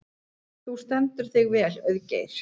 Þú stendur þig vel, Auðgeir!